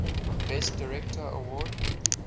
best director award